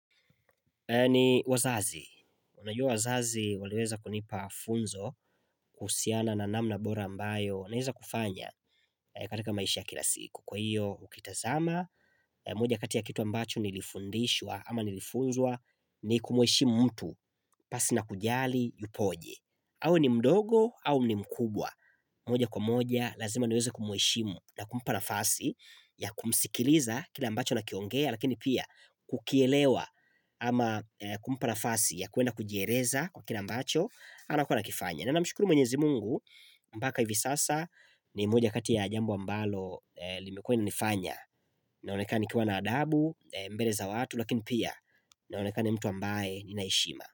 Ni wazazi, unajua wazazi waliweza kunipa funzo kuhusiana na namna bora ambayo naeza kufanya katika maisha kila siku Kwa hiyo, ukitazama, moja kati ya kitu ambacho nilifundishwa ama nilifunzwa ni kumweshimu mtu pasi na kujali yupoje awe ni mdogo au ni mkubwa moja kwa moja lazima niweza kumheshimu na kumpa nafasi ya kumsikiliza kila ambacho anakiongea Lakini pia kukielewa ama kumpa nafasi ya kuenda kujieleza kwa kila ambacho anakuwa anakifanya na namshukuru mwenyezi mungu Mbaka hivi sasa ni moja kati ya jambo ambalo limekuwa nimefanya Naoneka nikiwa na adabu, mbele za watu Lakini pia naonekana ni mtu ambaye nina heshima.